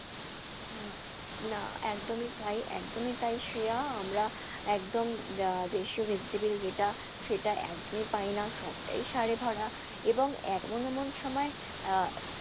না একদমই তাই একদমই তাই শ্রেয়া আমরা একদম আহ দেশীয় vegetable যেটা সেটা একদমই পাই না, সবটাই সারে ভরা এবং এমন এমন সময় আহ